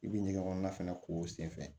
I bɛ ɲɛgɛn kɔnɔna fɛnɛ ko senfɛ